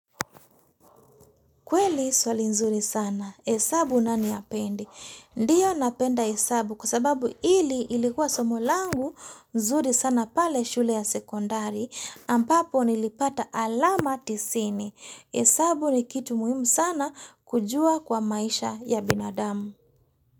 Kweli swali nzuri sana. Hesabu nani hapendi? Ndiyo napenda hesabu kwa sababu hili ilikuwa somo langu nzuri sana pale shule ya sekondari ambapo nilipata alama tisini. Hesabu ni kitu muhimu sana kujua kwa maisha ya binadamu.